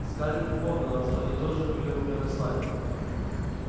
скарлетт припомнила что они тоже были у нее на свадьбе